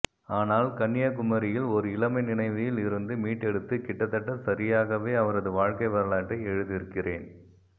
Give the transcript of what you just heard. ஆனால் கன்யாகுமரியில் ஓர் இளமை நினைவில் இருந்து மீட்டெடுத்து கிட்டத்தட்ட சரியாகவே அவரது வாழ்க்கை வரலாற்றை எழுதியிருக்கிறேன்